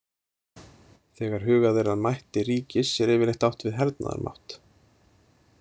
Þegar hugað er að mætti ríkis er yfirleitt átt við hernaðarmátt.